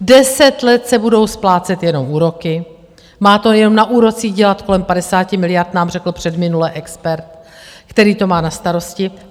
Deset let se budu splácet jenom úroky, má to jenom na úrocích dělat kolem 50 miliard, nám řekl předminule expert, který to má na starosti.